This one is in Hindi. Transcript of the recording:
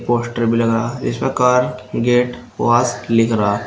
पोस्टर भी लगा इसमें कार जेट वाश लिख रहा--